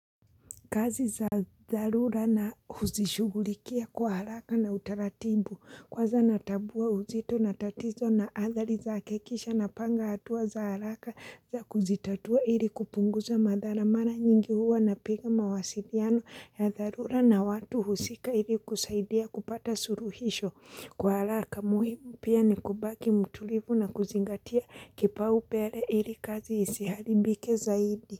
Kazi za dharura huzishugulikia kwa haraka na utaratibu. Kwanza natabua uzito na tatizo na athari zake kisha napanga hatua za haraka za kuzitatua ili kupunguza madhara mara nyingi huwa napiga mawasiliano ya dharura na watu husika ili kusaidia kupata suruhisho kwa haraka. Muhimu pia ni kubaki mtulivu na kuzingatia kipaumbele ili kazi isiharibike zaidi.